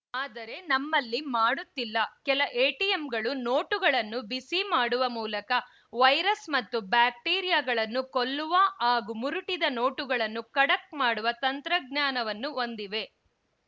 ಆದರೆ ನಮ್ಮಲ್ಲಿ ಮಾಡುತ್ತಿಲ್ಲ ಕೆಲ ಎಟಿಎಮ್‌ಗಳು ನೋಟುಗಳನ್ನು ಬಿಸಿ ಮಾಡುವ ಮೂಲಕ ವೈರಸ್‌ ಮತ್ತು ಬ್ಯಾಕ್ಟೀರಿಯಾಗಳನ್ನು ಕೊಲ್ಲುವ ಹಾಗೂ ಮುರುಟಿದ ನೋಟುಗಳನ್ನು ಖಡಕ್‌ ಮಾಡುವ ತಂತ್ರಜ್ಞಾನವನ್ನು ಹೊಂದಿವೆ